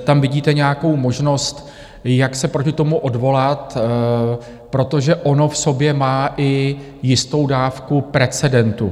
tam vidíte nějakou možnost, jak se proti tomu odvolat, protože ono v sobě má i jistou dávku precedentu.